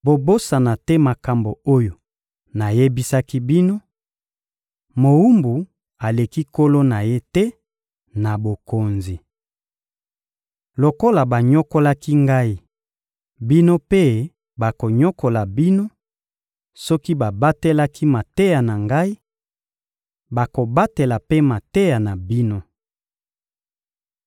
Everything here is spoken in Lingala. Bobosana te makambo oyo nayebisaki bino: «Mowumbu aleki nkolo na ye te, na bokonzi.» Lokola banyokolaki Ngai, bino mpe bakonyokola bino; soki babatelaki mateya na Ngai, bakobatela mpe mateya na bino.